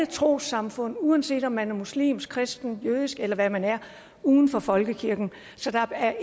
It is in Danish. trossamfund uanset om man er muslim kristen jødisk eller hvad man er uden for folkekirken så der er